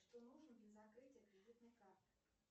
что нужно для закрытия кредитной карты